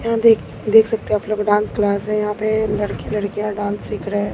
यहां देख देख सकते हैं आप लोग डांस क्लास है यहां पे लड़के लड़कियां डॉन्स सिख रहे है।